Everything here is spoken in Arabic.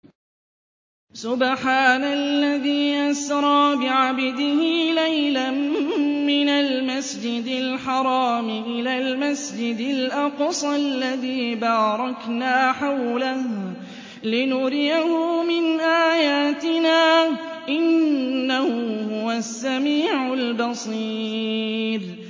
سُبْحَانَ الَّذِي أَسْرَىٰ بِعَبْدِهِ لَيْلًا مِّنَ الْمَسْجِدِ الْحَرَامِ إِلَى الْمَسْجِدِ الْأَقْصَى الَّذِي بَارَكْنَا حَوْلَهُ لِنُرِيَهُ مِنْ آيَاتِنَا ۚ إِنَّهُ هُوَ السَّمِيعُ الْبَصِيرُ